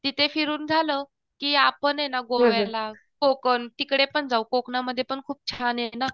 तिथे फिरून झालं की आपण ये ना गोव्याला, कोकण तीकडेपण जाऊ. कोकणामध्ये पण खूप छान ये ना